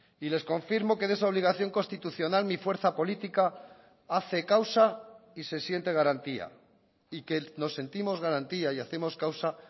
y les confirmo que de esa obligación constitucional mi fuerza política hace causa y se siente garantía y que nos sentimos garantía y hacemos causa